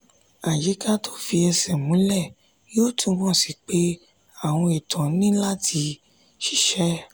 àyíká tí ò fi ẹsẹ̀ múlẹ̀ yóò túmọ̀ sí pé àwọn ètò ni láti ṣiṣẹ́.